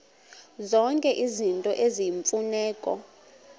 zonke izinto eziyimfuneko